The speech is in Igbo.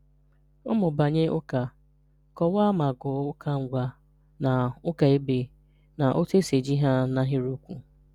Ụ̀mụ̀bànyè Ụ́kà: Kọ̀waà ma gụ́ọ̀ Ụ́kà Ngwà na Ụ́kà Èbé, na òtù esi eji ha n’ahịrị́okwù.